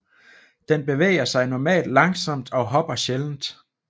Den bevæger sig normalt langsomt og hopper sjældent